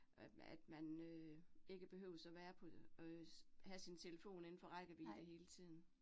Øh at man øh ikke behøves at være på, øh have sin telefon indenfor rækkevidde hele tiden